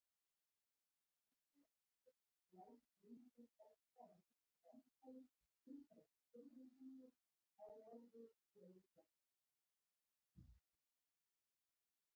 Engu að síður blæs vindur oftar en ekki rangsælis umhverfis hvirfilbylji á norðurhveli jarðar.